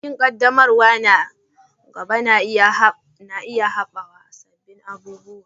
Bikin ƙaddamarwa na gaba na iya haɗawa da sabbin abubuwa.